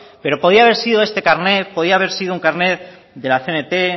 pero podía haber sido este carnet podía haber sido un carnet de la cnt